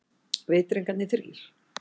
Vitringarnir þrír.